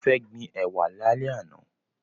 Mo fẹ́ gbin ẹ̀wà lálẹ́ àná.